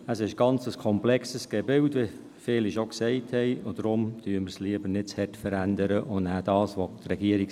Es ist ein sehr komplexes Gebilde, wie dies viele schon gesagt haben, und deswegen verändern wir es lieber nicht zu stark und belassen den Vorschlag der Regierung.